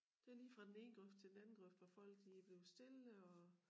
Det lige fra den ene grøft til den anden grøft hvor folk de bliver stille og